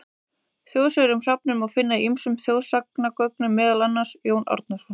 Þjóðsögur um hrafninn má finna í ýmsum þjóðsagnasöfnum, meðal annars: Jón Árnason.